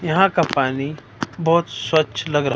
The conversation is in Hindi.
यहां का पानी बहोत स्वच्छ लग रहा--